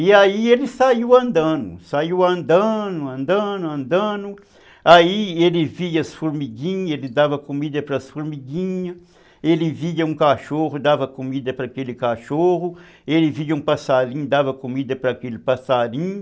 E aí ele saiu andando, saiu andando, andando, andando, aí ele via as formiguinhas, ele dava comida para as formiguinhas, ele via um cachorro, dava comida para aquele cachorro, ele via um passarinho, dava comida para aquele passarinho.